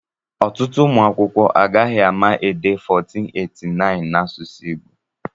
Ọtụtụ ụmụ akwụkwọ agaghị ama dee 1489 na asụsụ Igbo